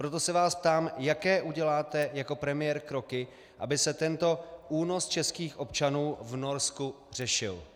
Proto se vás ptám, jaké uděláte jako premiér kroky, aby se tento únos českých občanů v Norsku řešil?